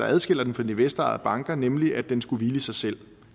adskiller dem fra de investorejede banker nemlig at den skulle hvile i sig selv